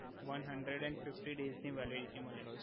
one hundred and fifty days ની validity મલે